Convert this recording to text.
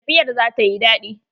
Tafiyar za ta yi daɗi.